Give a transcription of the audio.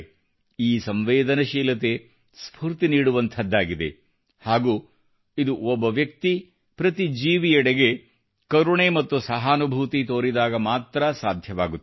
ಈ ಸಂವೇದನೆಶೀಲತೆ ಸ್ಫೂರ್ತಿ ನೀಡುವಂಥದ್ದಾಗಿದೆ ಹಾಗೂ ಇದು ಒಬ್ಬ ವ್ಯಕ್ತಿ ಪ್ರತಿ ಜೀವಿಯೆಡೆಗೆ ಕರುಣೆ ಮತ್ತು ಸಹಾನುಭೂತಿ ತೋರಿದಾಗ ಮಾತ್ರ ಸಾಧ್ಯವಾಗುತ್ತದೆ